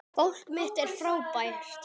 Fólk mitt er fátækt.